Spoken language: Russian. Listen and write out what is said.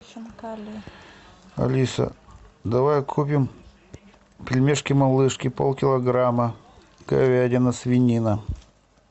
алиса давай купим пельмешки малышки полкилограмма говядина свинина